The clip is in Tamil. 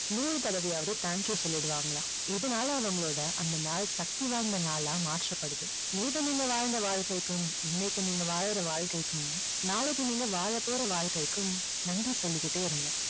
நூறு தடவையாவது thank you சொல்லிடுவாங்களாம். இதுனால அவங்களோட அந்த நாள் சக்தி வாய்ந்த நாளா மாற்றப்படுது. நேத்து நீங்க வாழ்ந்த வாழ்க்கைக்கும் இன்னைக்கு நீங்க வாழற வாழ்க்கைக்கும் நாளைக்கு நீங்க வாழப்போற வாழ்க்கைக்கும் நன்றி சொல்லிக்கிட்டே இருங்க.